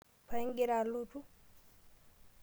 Paa igira alotu?